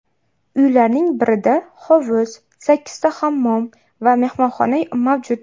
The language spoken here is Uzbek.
Uylarning birida hovuz, sakkizta hammom va mehmonxona mavjud.